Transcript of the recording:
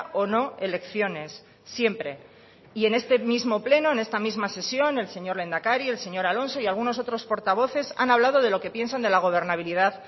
o no elecciones siempre y en este mismo pleno en esta misma sesión el señor lehendakari el señor alonso y algunos otros portavoces han hablado de lo que piensan de la gobernabilidad